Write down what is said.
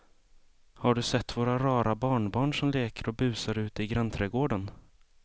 Har du sett våra rara barnbarn som leker och busar ute i grannträdgården!